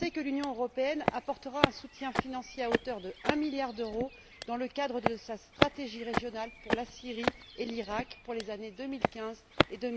a annoncé que l'Union européenne apportera un soutien financier à hauteur d'un milliard d'euros dans le cadre de sa stratégie régionale, pour la Syrie et l'Iraq, pour les années 2015 et